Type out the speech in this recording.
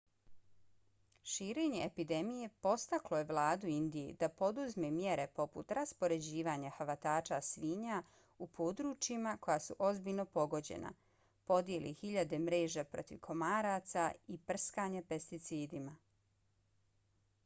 širenje epidemije podstaklo je vladu indije da poduzme mjere poput raspoređivanja hvatača svinja u područjima koja su ozbiljno pogođena podjele hiljada mreža protiv komaraca i prskanja pesticidima